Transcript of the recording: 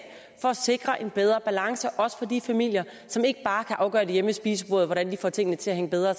for at sikre en bedre balance også for de familier som ikke bare kan afgøre hjemme ved spisebordet hvordan de får tingene til at hænge bedre